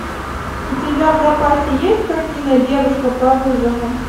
у тебя в запасе есть картина девушка по вызову